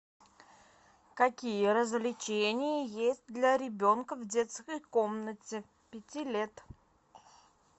какие развлечения есть для ребенка в детской комнате пяти лет